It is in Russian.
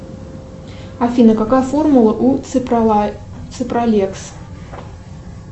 афина какая формула у ципралекс